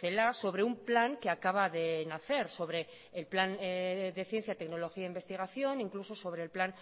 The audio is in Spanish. celaá sobre un plan que acaba de nacer sobre el plan de ciencia tecnología e investigación incluso sobre el plan